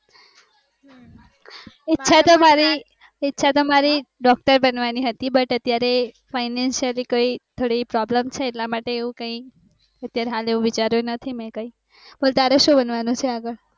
ઈચ્છા તો મારી doctor બનવામી હતી but અત્યારે financially થોડીક problem છે એટલા માટે એવું કૈક વિચાર્યું નથી કાય બોલ તારે સુ બનવાનો વિચાર છે